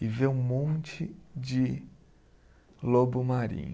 e vê um monte de lobo marinho.